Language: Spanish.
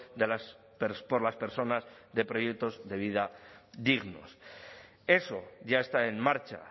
de las por las personas de proyectos de vida dignos eso ya está en marcha